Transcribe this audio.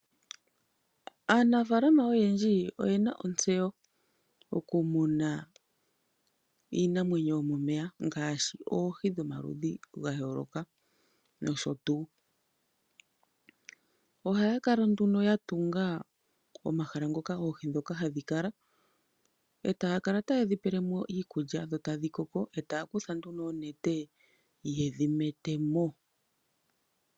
Aanafaalama oyendji oye na ontseyo okumuna iinamwenyo yomomeya ngaashi oohi dhomaludhi ga yooloka nosho tuu. Ohaya kala nduno ya tunga omahala ngoka oohi ndhoka hadhi kala, ta ya kala ta ye dhi pele mo iikulya e ta dhi koko, yo taya kutha nduno oonete ye dhi nete mo.